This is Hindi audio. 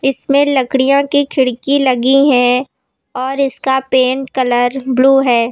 इसमें लकड़ियां की खिड़की लगी हैं और इसका पेंट कलर ब्लू है।